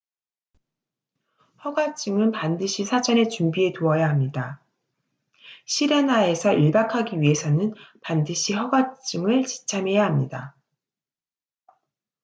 허가증은 반드시 사전에 준비해 두어야 합니다 sirena에서 일박 하기 위해서는 반드시 허가증을 지참해야 합니다